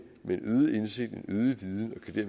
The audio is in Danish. med en øget indsigt